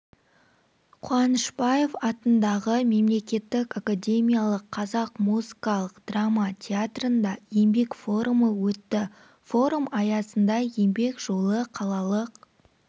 қуанышбаев атындағы мемлекеттік академиялық қазақ музыкалық драма театрында еңбек форумы өтті форум аясында еңбек жолы қалалық